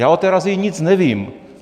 Já o té razii nic nevím.